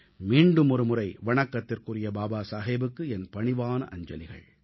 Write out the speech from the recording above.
மீண்டுமொரு முறை வணக்கத்திற்குரிய பாபா சாஹேபுக்கு என் பணிவான அஞ்சலிகள்